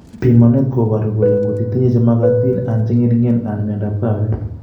Pimanet koparu kole ngotitinye chemakatin anan cheng'ering'en anan miondap kawek